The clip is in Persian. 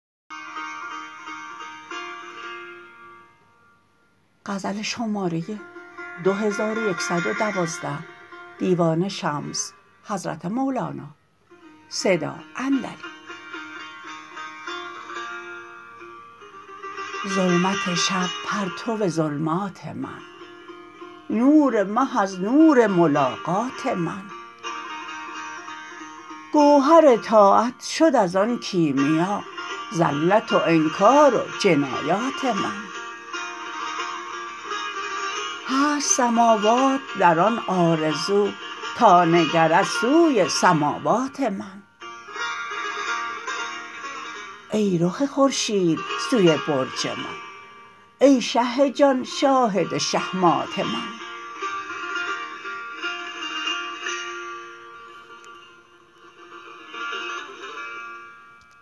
ظلمت شب پرتو ظلمات من نور مه از نور ملاقات من گوهر طاعت شد از آن کیمیا زلت و انکار و جنایات من هست سماوات در آن آرزو تا نگرد سوی سماوات من ای رخ خورشید سوی برج من ای شه جان شاهد شهمات من